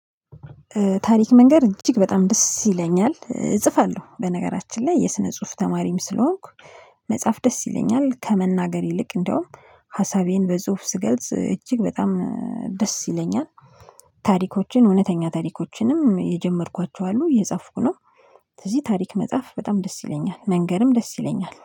ታሪክ መንገር እጅግ በጣም ደስ ይለኛል እጽፋለሁ በነገራችን ላይ የስነ ጽሁፍ ተማሪም ስለሆንኩ። መጽሐፍ ደስ ይለኛል ከመናገር ይልቅ እንደውም ሀሳቤን በጽሁፍ ስገልጽ እጅግ በጣም ደስ ይለኛል። ታሪኮችን እውነተኛ ታሪኮችንም የጀመርኳቸው አሉ እጻፍኩ ነው። ስለዚህ መጽሐፍ በጣም ደስ ይለኛል መንገርም ደስ ይለኛል